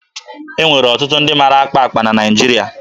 E nwere ọtụtụ ndị mara akpa akpa na Naịjiria.